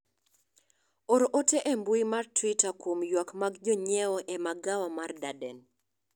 or ote e mbui mar twita kuom ywak mag jonyiewo magawa mar Darden